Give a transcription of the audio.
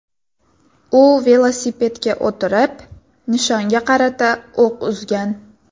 U velosipedga o‘tirib, nishonga qarata o‘q uzgan.